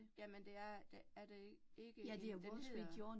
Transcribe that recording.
Jamen det er det er det ikke, den hedder